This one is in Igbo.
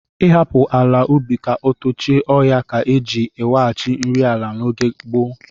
Ịhapụ ala ubi ka o tochie ọhịa ka e ji eweghachi nri ala n'oge gboo.